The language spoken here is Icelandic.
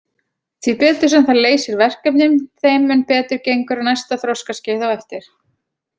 Því betur sem það leysir verkefnin þeim mun betur gengur á næsta þroskaskeiði á eftir.